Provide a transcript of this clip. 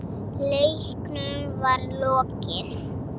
Leiknum var lokið.